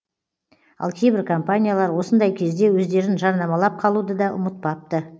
ал кейбір компаниялар осындай кезде өздерін жарнамалап қалуды да ұмытпапты